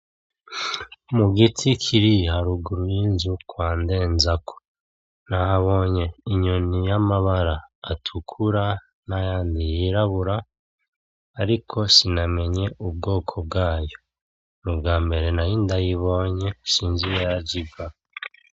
Mugiti kiri haruguru y' inzu kwa ndenzako nahabonye inyoni y' amabara atukura n' ayandi yirabura ariko sinamenye ubwoko bwayo nu bwambere nari ndayibonye sinzi iyo yaje iva.